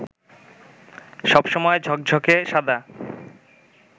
সব সময় ঝকঝকে সাদা